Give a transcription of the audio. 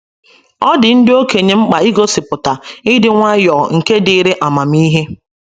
Ọ dị ndị okenye mkpa igosipụta “ ịdị nwayọọ nke dịịrị amamihe. ”